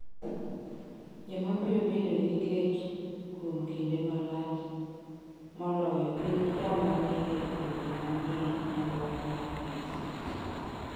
Joma biro bedo gi kech kuom kinde malach moloyo gin joma ni e pinje ma ni e nyandwat mar piny.